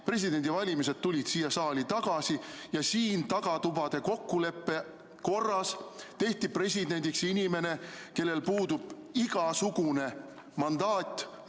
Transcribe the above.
Presidendi valimine tuli siia saali tagasi ja tagatubade kokkuleppe korras tehti presidendiks inimene, kellel puudub igasugune rahva antud mandaat.